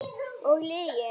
Og lygin.